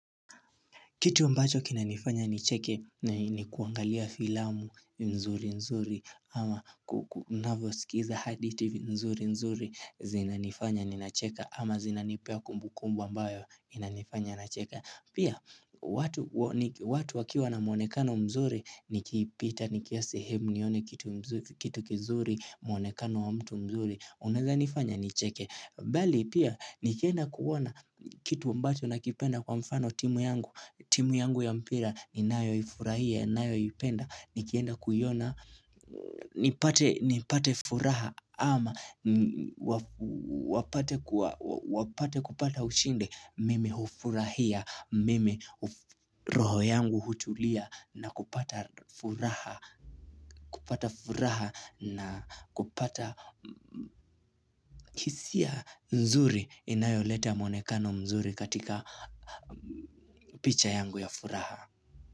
Kitu ambacho kinanifanya nicheke ni kuangalia filamu mzuri mzuri ama kunavosikiza hadithi mzuri mzuri zinanifanya ninacheka ama zinanipea kumbu kumbu ambayo inanifanya nacheka. Pia watu wakiwa na mwonekano mzuri nikipita nikiwa sehemu nione kitu kizuri mwonekano wa mtu mzuri unaeza nifanya nicheke. Bali pia nikienda kuona kitu ambacho nakipenda kwa mfano timu yangu. Timu yangu ya mpira ninayoifurahia, nayoipenda Nikienda kuiona, nipate furaha ama wapate kupata ushindi Mimi hufurahia, mimi roho yangu hutulia na kupata furaha kupata furaha na kupata kisia mzuri inayoleta mwonekano mzuri katika picha yangu ya furaha.